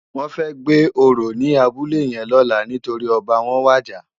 Wòn fè gbé óró ni àbúlé yèn lòlá nitóri òbá wòn wàjá